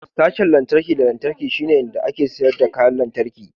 Sashen lantarki da lantarki shine inda ake sayar da kayan lantarki.